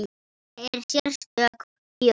Þetta er sérstök þjóð.